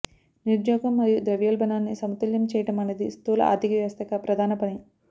నిరుద్యోగం మరియు ద్రవ్యోల్బణాన్ని సమతుల్యం చేయడం అనేది స్థూల ఆర్థిక వ్యవస్థ యొక్క ప్రధాన పని